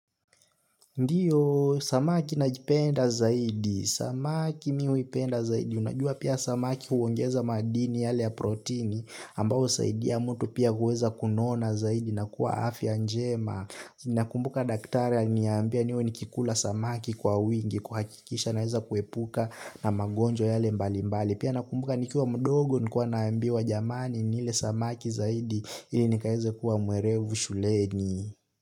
Ndiyo, samaki najipenda zaidi, samaki mi huipenda zaidi, unajua pia samaki huongeza madini yale ya protini ambao saidi ya mtu pia huweza kunona zaidi na kuwa afya njema. Nakumbuka daktari aliniambia niwe nikikula samaki kwa wingi, kuhakikisha naeza kuepuka na magonjwa yale mbali mbali. Pia nakumbuka nikuwa mdogo nilikuwa naambiwa jamani nile samaki zaidi ili nikaeze kuwa mwerevu shuleni.